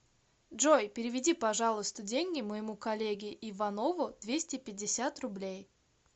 джой переведи пожалуйста деньги моему коллеге иванову двести пятьдесят рублей